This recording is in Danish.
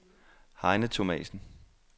Heine Thomasen